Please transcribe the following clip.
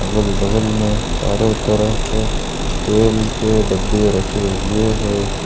अगल बगल में चारों तरफ तेल के डब्बे रखे हुए हैं।